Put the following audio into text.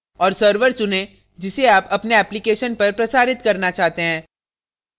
और server चुनें जिसे आप अपने application पर प्रसारित करना चाहते हैं